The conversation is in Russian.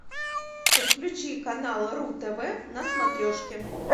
подключи канал ру тв на смотрешке